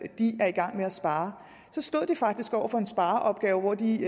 i gang med at spare stod de faktisk over for en spareopgave hvor de